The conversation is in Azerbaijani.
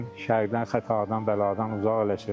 Şərdən, xətadan, bəladan uzaq eləsin.